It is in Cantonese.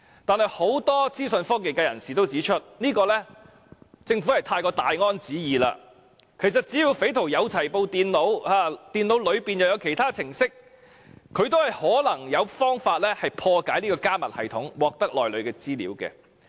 但是，很多資訊科技界人士也指出，政府是過於"大安旨意"，其實只要匪徒有電腦，而電腦內也有其他程式，亦可能有方法破解加密系統，獲得內裏的資料。